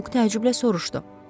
Buk təəccüblə soruşdu.